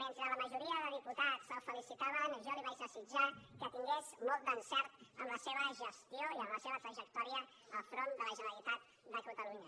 mentre la majoria de diputats el felicitaven jo li vaig desitjar que tingués molt d’encert en la seva gestió i en la seva trajectòria al capdavant de la generalitat de catalunya